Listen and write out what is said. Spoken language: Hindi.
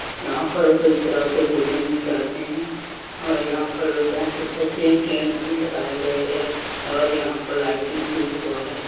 यहाँ पर कई तरह के भोजन मिल जाते हैं और यहाँ पर बहुत अच्छा से टेंट भी लगाए गए है और यहाँ पर लाइटिंग भी हुआ है।